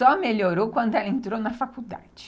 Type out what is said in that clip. Só melhorou quando ela entrou na faculdade.